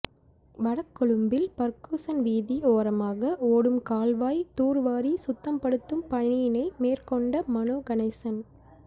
வடகொழும்பில் Ferguson வீதி ஓரமாக ஓடும் கால்வாய் தூர்வாரி சுத்தப்படுத்தும் பணியினை மேற்கொண்ட மனோ கணேசன்